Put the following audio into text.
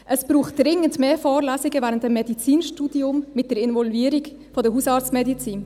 Es braucht während des Medizinstudiums dringend mehr Vorlesungen mit der Involvierung der Hausarztmedizin.